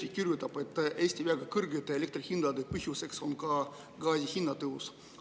Delfi kirjutab, et Eesti väga kõrgete elektri hindade põhjuseks on ka gaasi hinna tõus.